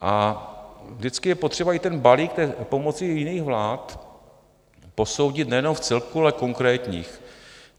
A vždycky je potřeba i ten balík pomocí jiných vlád posoudit nejenom vcelku, ale v konkrétních.